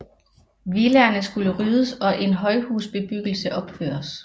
Villaerne skulle ryddes og en højhusbebyggelse opføres